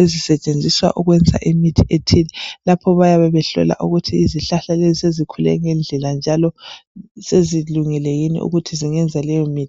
ezisetshenziswa ukwenza imithi ethe, lapho bayabe behlola ukuthi izihlahla lezi sezikhule ngendlela njalo sezilungele yini ukuthi zingenza leyo mithi.